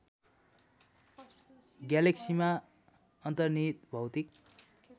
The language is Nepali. ग्यालेक्सीमा अन्तर्निहित भौतिक